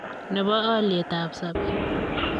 ne bo alyetab sobet.